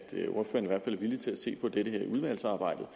villig til at se på det her i udvalgsarbejdet